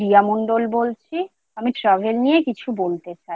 আমি রিয়া মন্ডল বলছি, আমি Travel নিয়ে কিছু বলতে চাই